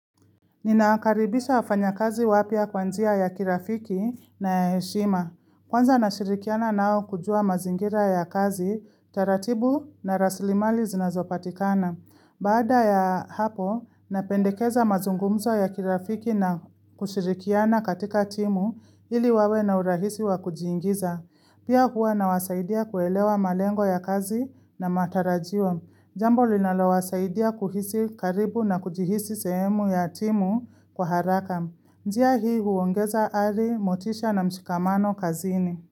Nina wakaribisha wafanyakazi wapya kwa njia ya kirafiki na ya heshima. Kwanza nashirikiana nao kujua mazingira ya kazi, taratibu na raslimali zinazopatikana. Baada ya hapo, napendekeza mazungumzo ya kirafiki na kushirikiana katika timu ili wawe na urahisi wa kujiingiza. Pia huwa nawasaidia kuelewa malengo ya kazi na matarajio. Jambo linalo wasaidia kuhisi karibu na kujihisi sehemu ya timu kwa haraka. Njia hii huongeza ari, motisha na mshikamano kazini.